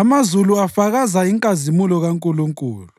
Amazulu afakaza inkazimulo kaNkulunkulu;